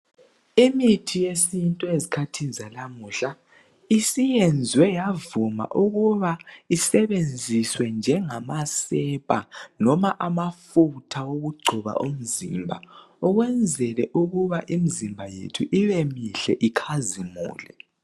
Imithi yesintu ezikhathini zalamuhla ,isiyenzwe yavuma ukuba isebenziswe njengamasepa loma amafutha okugcoba umzimba ,ukwenzele ukuba imzimba yethu ibe mihle ikhazimule.